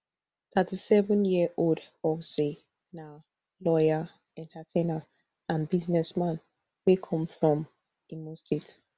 thirty-sevenyearold ozee na lawyer entertainer and businessman wey come from imo state